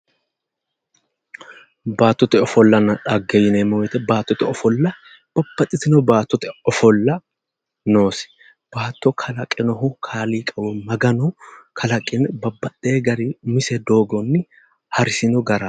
Baattote ofollanna xagge yineemmo woyiite baattote ofolla babbaxxitino baattote ofolla noosebaatto kalaqinohu kaaliiqi woy maganoho maganu kalaqe babbaxxewoo garinni umisi doogonni harisino gara